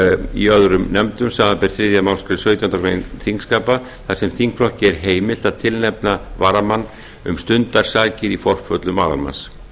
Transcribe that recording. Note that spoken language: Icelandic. í öðrum nefndum samanber þriðju málsgrein sautjándu grein þingskapa þar sem þingflokki er heimilt að tilnefna varamann um stundarsakir í forföllum aðalmanns